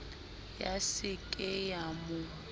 ya se ke ya mo